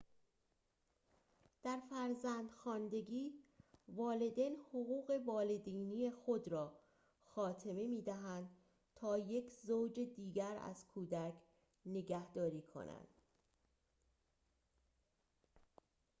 در فرزندخواندگی والدین حقوق والدینی خود را خاتمه می‌دهند تا یک زوج دیگر از کودک نگهداری کنند